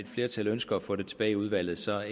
flertal ønsker at få det tilbage i udvalget så har